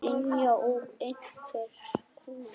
Brynja: Og einhver komið?